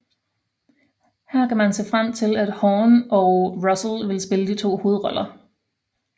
Her kan man se frem til at Hawn og Russell vil spille de to hovedroller